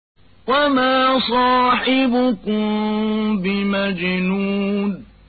وَمَا صَاحِبُكُم بِمَجْنُونٍ